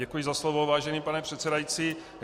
Děkuji za slovo, vážený pane předsedající.